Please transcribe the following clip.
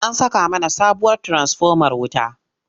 An saka mana sabuwar tiransifomar wuta.